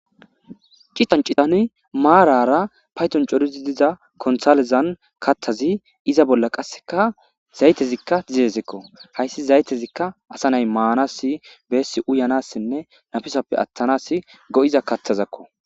citan citani maarara payton corizi diza konthalezan kattazi iza bolla qasseka zaytezikka zidezekko hayssi zaytezikka asa nay maanasi beessi uyanassinne nafisappe attanas go7iza kattazakko